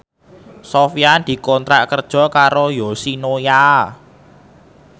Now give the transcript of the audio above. Sofyan dikontrak kerja karo Yoshinoya